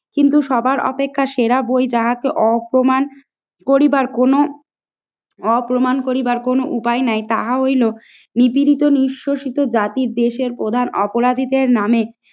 কিন্তু সবার অপেক্ষা সেরা বই তাহাকে অপমান করিবার কোনো, অপমান করিবার কোনো উপায় নাই তা হইলো নিপীড়িত নিহশসিশ জাতির দেশের প্রধান অপরাধীদের নামে